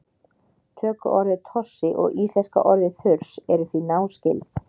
tökuorðið tossi og íslenska orðið þurs eru því náskyld